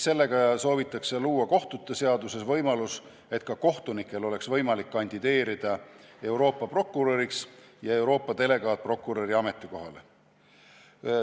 Sellega soovitakse luua kohtute seaduses võimalus, et ka kohtunikel oleks võimalik kandideerida Euroopa prokuröri ja Euroopa delegaatprokuröri ametikohale.